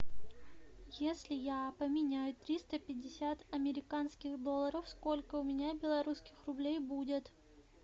если я поменяю триста пятьдесят американских долларов сколько у меня белорусских рублей будет